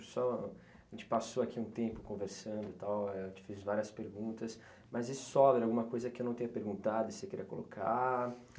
só a gente passou aqui um tempo conversando e tal, éh eu te fiz várias perguntas, mas e sobra alguma coisa que eu não tenha perguntado e você queira colocar?